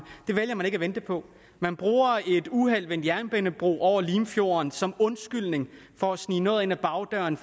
det vælger man ikke at vente på man bruger et uheld ved en jernbanebro over limfjorden som undskyldning for at snige noget ind ad bagdøren